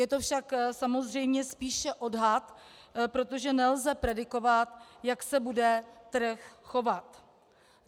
Je to však samozřejmě spíše odhad, protože nelze predikovat, jak se bude trh chovat.